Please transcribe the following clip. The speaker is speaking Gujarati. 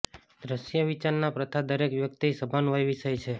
દ્રશ્ય વિચારના પ્રથા દરેક વ્યક્તિ સભાન વય વિષય છે